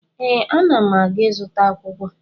Ee, ana m aga ịzụta akwụkwọ